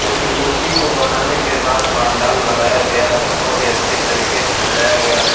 जो कि मूर्ति को बनाने के बाद पानडाल लगाया गया है बोहत ही अच्छी तरीके से सजाया गया है।